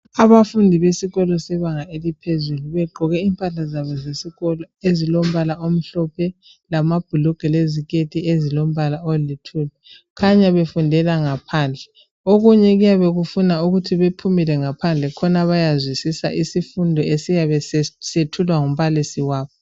Abafundi besikolo sebanga eliphezulu bagqoka impahla zabo zesikolo ezilombala omhlophe, lamabhulugwe leziketi ezilombala oluthuli. Kukhaya bafundela ngaphandle. Okunye kuyabe kufuna ukuthi baphumele ngaphandle khona bayazwisisa isifundo esiyabe sisethulwa ngumbalisi wabo.